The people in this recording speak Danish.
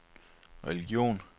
religion